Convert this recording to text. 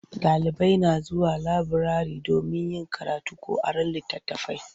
Ɗalibai na zuwa laburare domin yin karatu ko aron litattafai.